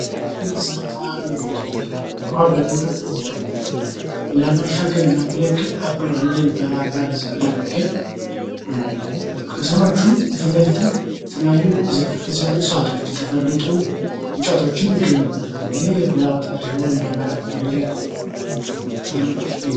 የመሰረታዊ አገልግሎቶች ዉሃ በሚሞላበት ጊዜ ለመሻገር የሚያገለግል አባይ ድልድይ በባህር ዳር ዙሪያ የሚገኝ ነው። ከስሮቹም ፊትለፊትም የተለያዩ እጽዋቶች የተፈለጡ እንጨቶችም ይገኙበታል።